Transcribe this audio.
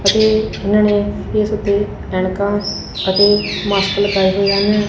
ਅਤੇ ਇਹਨਾਂ ਨੇ ਫੇਸ ਉੱਤੇ ਐਨਕਾਂ ਅਤੇ ਮਾਸਕ ਲਗਾਏ ਹੋਏ ਹਨ।